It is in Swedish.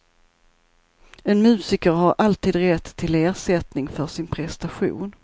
En musiker har alltid rätt till ersättning för sin prestation.